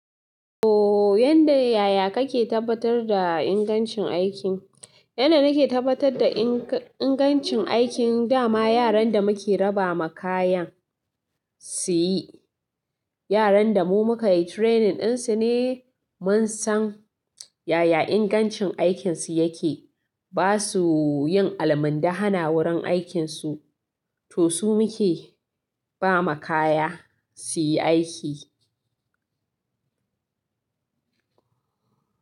Ooh, yanda yaya kake tabbatar da ingancin aikin? Yanda nake tabbatar da inga-ingancin aikin da ma yaran da muke raba ma kayan su yi, yaran da mu muka yi training ɗin su ne mun san yaya ingancin aikinsu yake. Ba su yin alamub da hana wurin aikinsu. To su muke ba ma kaya su yi aiki.